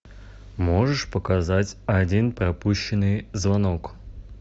можешь показать один пропущенный звонок